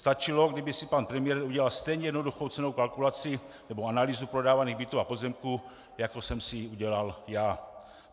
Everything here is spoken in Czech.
Stačilo, kdyby si pan premiér udělal stejně jednoduchou cenovou kalkulaci nebo analýzu prodávaných bytů a pozemků, jako jsem si ji udělal já.